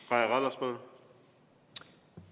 Kaja Kallas, palun!